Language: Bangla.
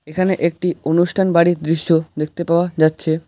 এখানে একটি অনুষ্ঠান বাড়ির দৃশ্য দেখতে পাওয়া যাচ্ছে।